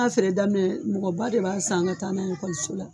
feere daminɛ mɔgɔ ba de b'a san ka taa n'a ekɔliso la.